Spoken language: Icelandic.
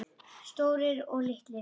Stórir, litlir.